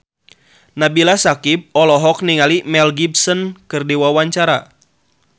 Nabila Syakieb olohok ningali Mel Gibson keur diwawancara